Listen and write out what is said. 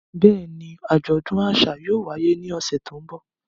Bẹ́ẹ̀ni, ajọdun aṣa yóò waye ni ọsẹ ti n bọ.